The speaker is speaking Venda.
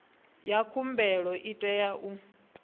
ya khumbelo i tea u